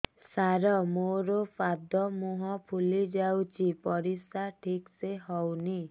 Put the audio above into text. ସାର ମୋରୋ ପାଦ ମୁହଁ ଫୁଲିଯାଉଛି ପରିଶ୍ରା ଠିକ ସେ ହଉନି